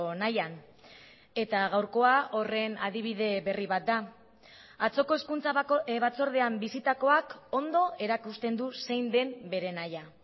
nahian eta gaurkoa horren adibide berri bat da atzoko hezkuntza batzordean bisitakoak ondo erakusten du zein den bere nahia